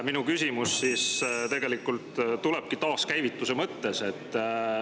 Minu küsimus tulebki taaskäivituse mõttes.